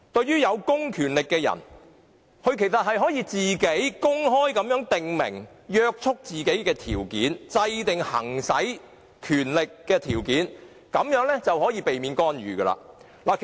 有公權力的人可公開訂明約束自己的條件、制訂行使權力的條件，這樣便可避免干預。